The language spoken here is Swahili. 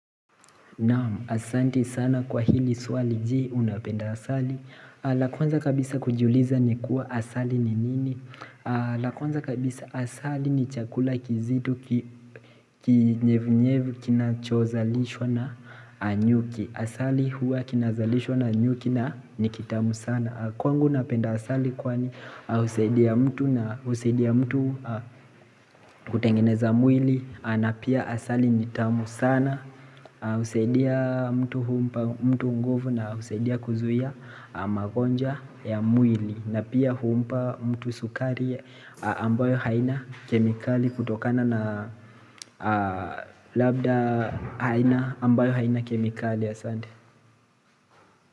Asanti sana kwa hili swali je unapenda asali Lakwanza kabisa kujiuliza ni kuwa asali ni nini Lakwanza kabisa asali ni chakula kizito kinyevu-nyevu kinachozalishwa na nyuki Asali huwa kinazalishwa na nyuki na nikitamu sana Kwangu napenda asali kwani usaidia mtu na usaidia mtu kutengeneza mwili na pia asali nitamu sana usaidia mtu humpa mtu nguvu na usaidia kuzuia magonjwa ya mwili na pia huumpa mtu sukari ambayo haina kemikali kutokana na labda haina ambayo haina kemikali a sande.